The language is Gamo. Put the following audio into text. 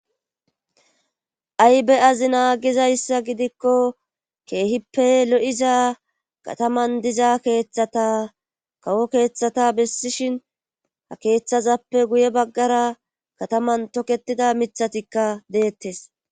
Aybe azi naa gizayssa gidikko keehippe lo7iza kataman diza keeththata kawo keeththata bessishin ha keeththazappe guye baggara kataman toketida mithatikka deettes.